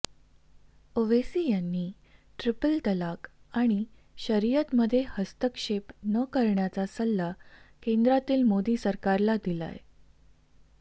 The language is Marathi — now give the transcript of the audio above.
ओवैसी यांनी ट्रिपल तलाक आणि शरीयतमध्ये हस्तक्षेप न करण्याचा सल्ला केंद्रातील मोदी सरकारला दिलाय